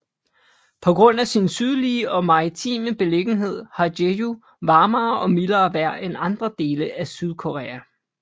På grund af sin sydlige og maritime beliggenhed har Jeju varmere og mildere vejr end andre dele af Sydkorea